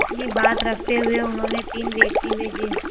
अपनी बात रखते हुए उन्होंने तीन व्यक्ति भेजे